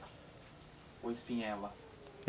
Ou espinhela?